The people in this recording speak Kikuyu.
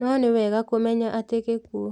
No nĩwega kũmenya atĩ gĩkuũ